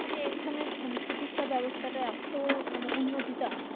এখানে মানে চিকিৎসাব্যবস্থাটা এত মানে উন্নতিটা।